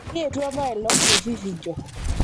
kietuo apailong' te vifinjo